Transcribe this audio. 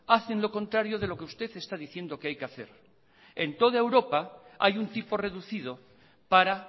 hacen lo contrario de lo que usted está diciendo que hay que hacer en toda europa hay un tipo reducido para